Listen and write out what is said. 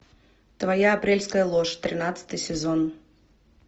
твоя апрельская ложь тринадцатый сезон